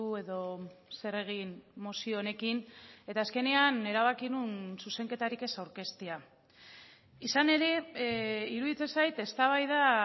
edo zer egin mozio honekin eta azkenean erabaki nuen zuzenketarik ez aurkeztea izan ere iruditzen zait eztabaida